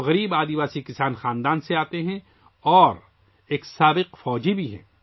وہ ایک غریب قبائلی کسان خاندان سے آتے ہے اور ایک سابق فوجی بھی ہیں